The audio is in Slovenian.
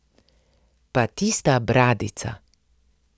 Pa tista bradica!